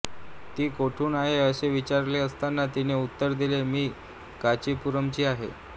ती कोठून आहे असे विचारले असता तिने उत्तर दिले मी कांचीपुरमची आहे